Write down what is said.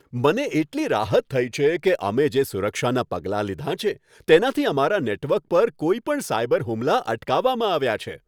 મને એટલી રાહત થઈ છે કે અમે જે સુરક્ષાના પગલાં લીધાં છે, તેનાથી અમારા નેટવર્ક પર કોઈપણ સાયબર હુમલા અટકાવવામાં આવ્યા છે.